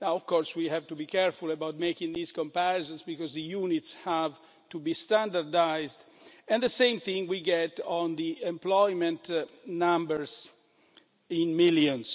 Of course we have to be careful about making these comparisons because the units have to be standardised and the same thing we get on the employment numbers, in millions.